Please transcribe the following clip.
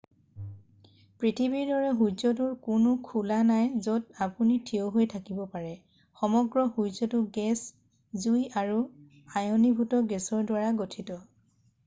পৃথিৱীৰ দৰে সূৰ্যটোৰ কোনো খোলা নাই য'ত আপুনি থিয় হৈ থাকিব পাৰে সমগ্ৰ সূৰ্যটো গেছ জুই আৰু আয়নীভূত গেছৰ দ্বাৰা গঠিত